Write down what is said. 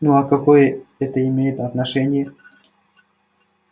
ну а какое это имеет отношение